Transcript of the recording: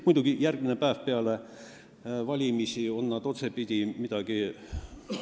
Muidugi, järgmine päev peale valimisi on nad otsemaid midagi ...